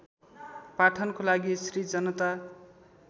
पाठनको लागि श्री जनता